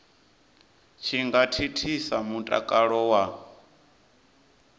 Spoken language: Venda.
tshi nga thithisa mutakalo wa